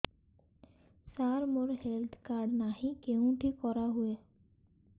ସାର ମୋର health card ନାହିଁ କେଉଁଠି କରା ହୁଏ